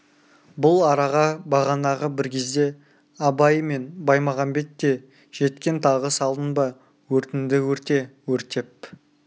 бұл араға бағанағы бір кезде абай мен баймағамбет те жеткен тағы салдың ба өртіңді өрте өртеп